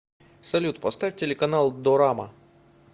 салют поставь телеканал дорама